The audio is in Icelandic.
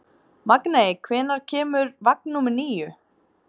Magney, hvenær kemur vagn númer níu?